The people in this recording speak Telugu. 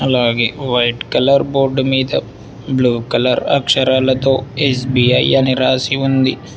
అలాగే వైట్ కలర్ బోర్డు మీద బ్లూ కలర్ అక్షరాలతో ఎస్_బి_ఐ అని రాసి ఉంది.